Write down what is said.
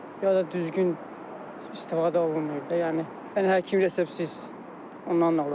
Ya da düzgün istifadə olunmayıb da, yəni həkim reseptsiz ondan da ola bilər.